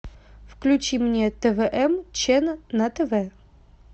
включи мне твм чен на тв